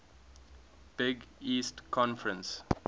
big east conference